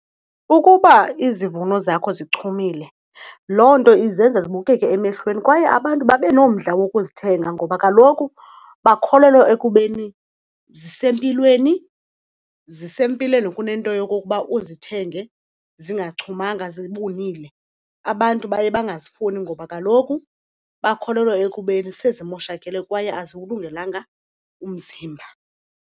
Ukuba izivuno zakho zichumile loo nto izenza zibukeke emehlweni kwaye abantu babe nomdla wokuzithenga ngoba kaloku bakholelwa ekubeni zisempilweni, zisempilweni kunento yokokuba uzithenge zingachumanga zibunile. Abantu baye bangazifumani ngoba kaloku bakholelwa ekubeni sezimoshakele kwaye aziwulungelanga umzimba.